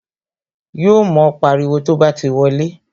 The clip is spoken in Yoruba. Yo mo pariwo to bá ti wọlé